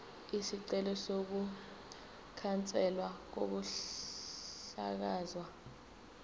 isicelo sokukhanselwa kokuhlakazwa